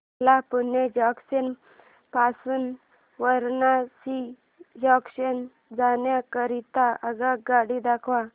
मला पुणे जंक्शन पासून वाराणसी जंक्शन जाण्या करीता आगगाडी दाखवा